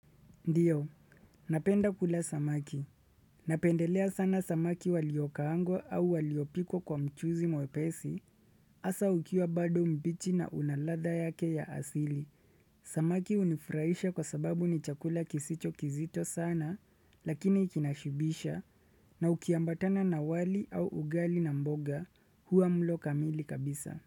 Ndiyo, napenda kula samaki. Napendelea sana samaki waliokaangwa au waliopikwa kwa mchuzi mwepesi. Hasa ukiwa bado mbichi na unaladha yake ya asili. Samaki hunifurahisha kwa sababu ni chakula kisicho kizito sana lakini kinashibisha na ukiambatana na wali au ugali na mboga huwa mlo kamili kabisa.